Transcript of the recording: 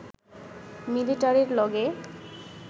মিলিটারির লগে